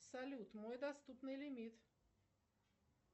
салют мой доступный лимит